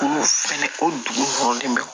Olu fɛnɛ o dugusɛlen bɛ